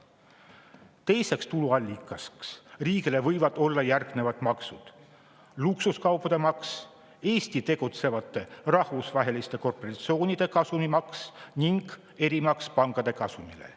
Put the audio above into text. Teiseks tuluallikaks riigile võivad olla järgmised maksud: luksuskaupade maks, Eesti tegutsevate rahvusvaheliste korporatsioonide kasumimaks ning erimaks pankade kasumile.